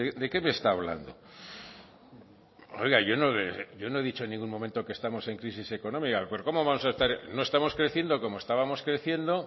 de qué me está hablando oiga yo no he dicho en ningún momento que estamos en crisis económica pero como vamos a estar no estamos creciendo como estábamos creciendo